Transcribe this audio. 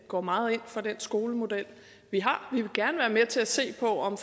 går meget ind for den skolemodel vi vil gerne være med til at se på om